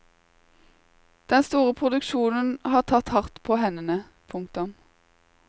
Den store produksjonen har tatt hardt på hendene. punktum